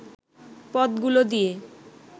পথগুলো দিয়ে